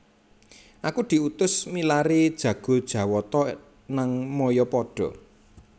Aku diutus milari jago jawata nang mayapada